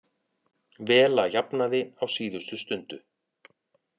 Vela jafnaði á síðustu stundu